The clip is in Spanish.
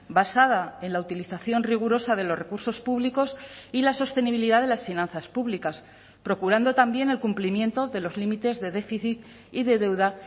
basada en la utilización rigurosa de los recursos públicos y la sostenibilidad de las finanzas públicas procurando también el cumplimiento de los límites de déficit y de deuda